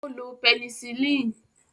Ó lo pẹnisilínì